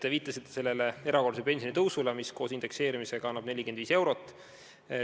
Te viitasite erakorralisele pensionitõusule, mis koos indekseerimisega annab 45 eurot.